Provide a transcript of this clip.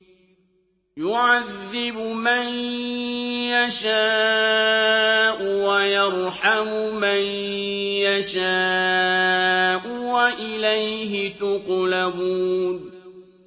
يُعَذِّبُ مَن يَشَاءُ وَيَرْحَمُ مَن يَشَاءُ ۖ وَإِلَيْهِ تُقْلَبُونَ